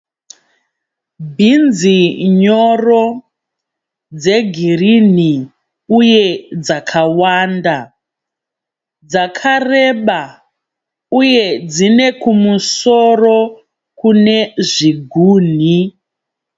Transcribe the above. Bhinzi nyoro dzegirini uye dzakawanda, dzakareba uye dzinekumusoro kune zviguhi.